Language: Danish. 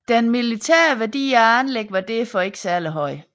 Den militære værdi af anlæggene var derfor ikke særlig høj